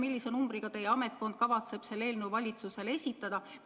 Millise vanusenumbriga kavatseb teie ametkond selle eelnõu valitsusele esitada?